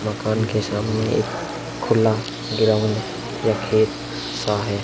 मकान के सामने एक खुला ग्राउंड या खेत सा है।